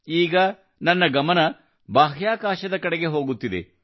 ಈಗ ನನ್ನ ಗಮನವು ಬಾಹ್ಯಾಕಾಶದ ಕಡೆಗೆ ಹೋಗುತ್ತಿದೆ